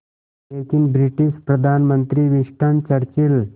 लेकिन ब्रिटिश प्रधानमंत्री Winston Churchill